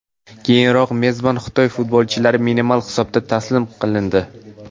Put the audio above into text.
Keyinroq mezbon Xitoy futbolchilari minimal hisobda taslim qilindi.